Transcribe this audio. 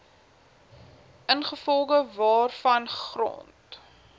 ingevolge waarvan grond